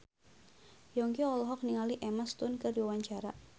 Yongki olohok ningali Emma Stone keur diwawancara